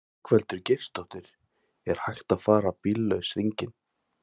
Ingveldur Geirsdóttir: Er hægt að fara bíllaus hringinn?